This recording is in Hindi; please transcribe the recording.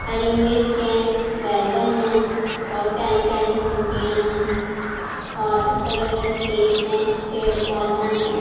हरी मिर्च है बैगन है बहोत प्यारी-प्यारी सब्जिया है और इसके अगल-बगल खेत है पेड़-पौधा है।